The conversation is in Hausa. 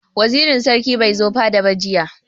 Wazirin sarki bai zo fada ba jiya.